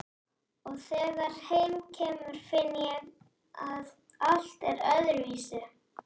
Og þegar heim kemur finn ég að allt er öðruvísi.